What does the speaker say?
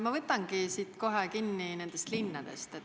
Ma võtangi kohe kinni nendest linnadest.